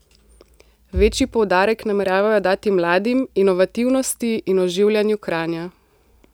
Večji poudarek nameravajo dati mladim, inovativnosti in oživljanju Kranja.